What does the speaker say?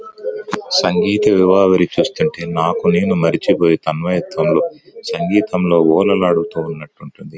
సంగీత వివాహ నాకు నేను మర్చిపోయి తన్మయత్వంలో సంగీతంలో ఓలలాడుతూ ఉన్నట్టుంటుంది.